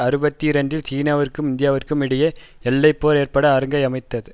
அறுபத்தி இரண்டில் சீனாவிற்கும் இந்தியாவிற்கும் இடையே எல்லை போர் ஏற்பட அரங்கை அமைத்தது